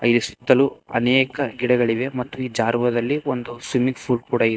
ಈ ಸುತ್ತಲೂ ಅನೇಕ ಗಿಡಗಳಿವೆ ಮತ್ತು ಈ ಜಾರ್ವೋದಲ್ಲಿ ಒಂದು ಸ್ವಿಮ್ಮಿಂಗ್ ಫೂಲ್ ಕೂಡ --